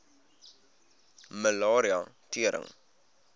malaria tering